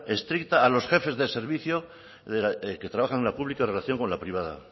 estricta a los jefes de servicio que trabajan en la pública en relación con la privada